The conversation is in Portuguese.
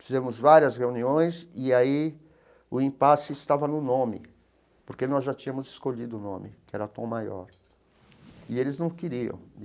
Fizemos várias reuniões e aí o impasse estava no nome, porque nós já tínhamos escolhido o nome, que era Tom Maior, e eles não queriam.